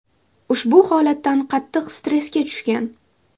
ushbu holatdan qattiq stressga tushgan.